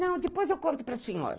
Não, depois eu conto para a senhora.